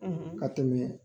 Ka tɛmɛ